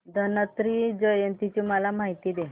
धन्वंतरी जयंती ची मला माहिती दे